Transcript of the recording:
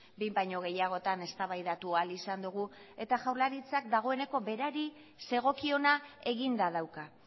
behin baino gehiagotan eztabaidatu ahal izan dugu eta jaurlaritzak dagoeneko berari zegokiona eginda dauka